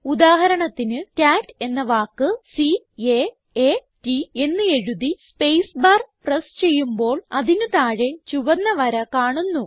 ഉദാഹരണത്തിന് കാട്ട് എന്ന വാക്ക് C A A T എന്ന് എഴുതി സ്പേസ് പ്രസ് ചെയ്യുമ്പോൾ അതിന് താഴെ ചുവന്ന വര കാണുന്നു